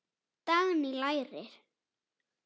Dagný: Læri.